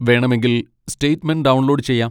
വേണമെങ്കിൽ statement download ചെയ്യാം.